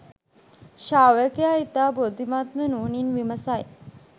ශ්‍රාවකයා ඉතා බුද්ධිමත්ව නුවණින් විමසයි